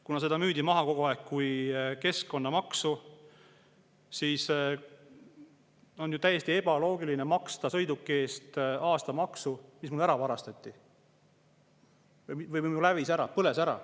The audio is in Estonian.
Kuna seda müüdi kogu aeg kui keskkonnamaksu, siis on ju täiesti ebaloogiline maksta aastamaksu sõiduki eest, mis ära varastati või hävis, põles ära.